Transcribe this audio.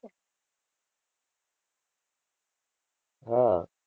હા.